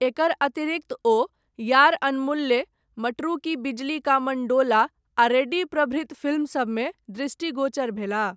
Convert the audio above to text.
एकर अतिरिक्त ओ, यार अनमुल्ले, मटरू की बिजली का मण्डोला, आ रेडी प्रभृत फिल्म सबमे, दृष्टिगोचर भेलाह।